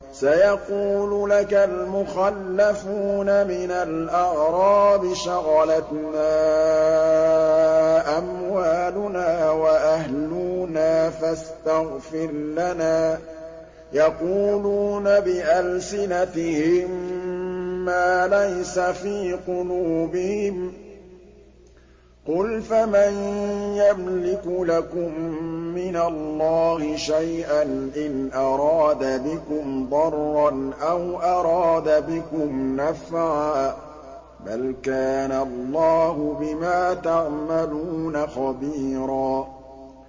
سَيَقُولُ لَكَ الْمُخَلَّفُونَ مِنَ الْأَعْرَابِ شَغَلَتْنَا أَمْوَالُنَا وَأَهْلُونَا فَاسْتَغْفِرْ لَنَا ۚ يَقُولُونَ بِأَلْسِنَتِهِم مَّا لَيْسَ فِي قُلُوبِهِمْ ۚ قُلْ فَمَن يَمْلِكُ لَكُم مِّنَ اللَّهِ شَيْئًا إِنْ أَرَادَ بِكُمْ ضَرًّا أَوْ أَرَادَ بِكُمْ نَفْعًا ۚ بَلْ كَانَ اللَّهُ بِمَا تَعْمَلُونَ خَبِيرًا